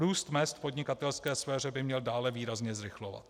Růst mezd v podnikatelské sféře by měl dále výrazně zrychlovat.